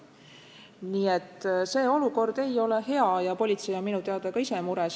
Nii et see olukord ei ole hea ja politsei on minu teada ka mures.